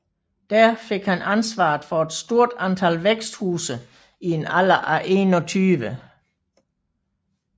Der fik han ansvaret for et stort antal væksthuse i en alder af 21